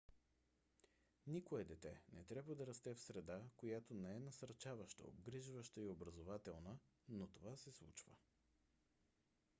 никое дете не трябва да расте в среда която не е насърчаваща обгрижваща и образователна но това се случва